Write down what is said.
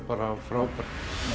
bara frábært